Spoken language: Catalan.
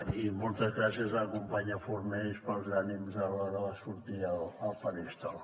i moltes gràcies a la companya fornells pels ànims a l’hora de sortir al faristol